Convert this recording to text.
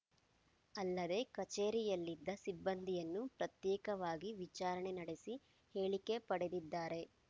ಅಲ್ಲದೆ ಕಚೇರಿಯಲ್ಲಿದ್ದ ಸಿಬ್ಬಂದಿಯನ್ನು ಪ್ರತ್ಯೇಕವಾಗಿ ವಿಚಾರಣೆ ನಡೆಸಿ ಹೇಳಿಕೆ ಪಡೆದಿದ್ದಾರೆ